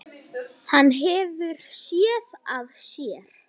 Hann hefur SÉÐ AÐ SÉR.